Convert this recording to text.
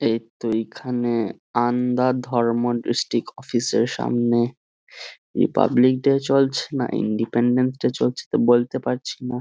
এইতো এইখানে আন্ডা ধর্ম ডিস্ট্রিক্ট অফিসের সামনে রিপাবলিক ডে চলছে না ইনডিপেনডেন্স ডে তা বলতে পারছি না।